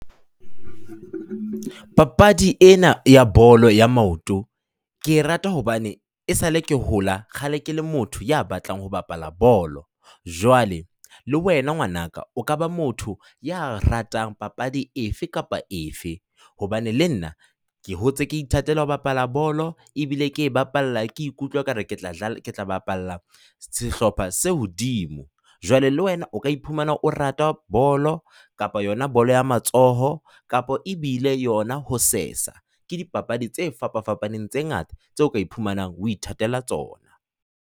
Papadi ena ya bolo ya maoto, ke e rata hobane esale ke hola kgale ke le motho ya batlang ho bapala bolo. Jwale le wena ngwanaka o ka ba motho ya ratang papadi efe kapa efe hobane le nna ke hotse ke ithatela ho bapala bolo ebile ke e bapalla, ke ikutlwa ekare ke tla ke tla bapalla sehlopha se hodimo, jwale le wena o ka iphumana o rata bolo kapa yona bolo ya matsoho kapa ebile yona ho sesa. Ke dipapadi tse fapafapaneng tse ngata tseo ka iphumanang o ithatela tsona.